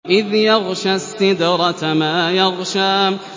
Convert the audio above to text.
إِذْ يَغْشَى السِّدْرَةَ مَا يَغْشَىٰ